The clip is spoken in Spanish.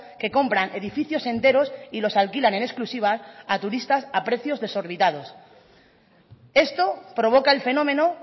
que compran edificios enteros y los alquilan en exclusiva a turistas a precios desorbitados esto provoca el fenómeno